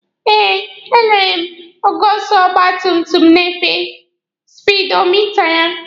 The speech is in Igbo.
E lere m ogo ọsọ ọgba tum tum na-efe na spidomita ya.